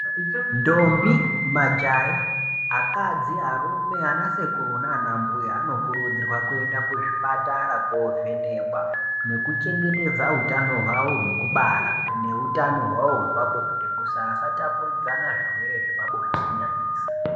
Ndombi majaha ,akadzi ,arume, anasekuru nanambuya anokurudzirwa kuenda kuzvipatara kovhenekwa nekuchengetedza utano hwavo hwekubara neutano hwawo hwepabonde kuti vasatapuridzana zvirwere zvepabonde kunyanyisa.